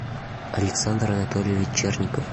александр анатольевич черников